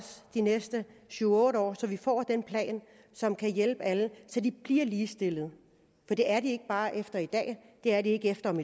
de næste syv otte år så vi får den plan som kan hjælpe alle så de bliver ligestillet for det er de ikke bare efter i dag det er de ikke efter om